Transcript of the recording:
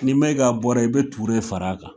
N'i Mayiga bɔra yen i bɛ Ture fara a kan.